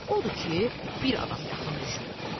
Odur ki, bir adam yaxın düşmürdü.